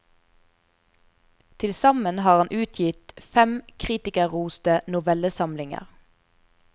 Tilsammen har han utgitt fem kritikerroste novellesamlinger.